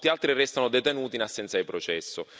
Molti altri restano detenuti in assenza di processo.